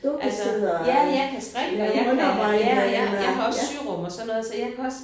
Altså ja jeg kan strikke og jeg kan ja og jeg jeg har også syrum også sådan noget så jeg kan også